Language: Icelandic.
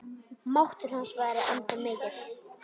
Máttur hans væri ennþá mikill.